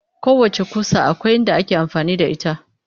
Kowacce ƙusa akwai inda ake amfani da ita